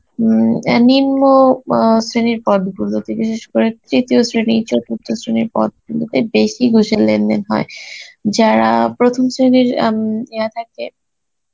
উম অ্যাঁ নিম্ন অ্যাঁ শ্রেনীর পদ গুলোতে বিশেষ করে তৃতীয় শ্রেণী, চতুর্থ শ্রেনীর পদ গুলোতে বেশি ঘুষের লেনদেন হয়, যারা প্রথম শ্রেনীর আম ইয়ে থাকে